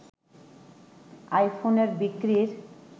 আইফোনের বিক্রির